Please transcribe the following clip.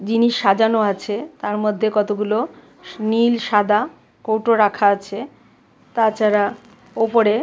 জিনিস সাজানো আছে তার মধ্যে কতগুলো নীল সাদা কৌটো রাখা আছে তাছাড়া ওপরে--